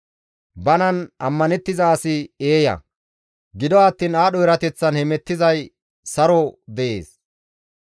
Banan ammanettiza asi eeya; gido attiin aadho erateththan hemettizay saron de7ees.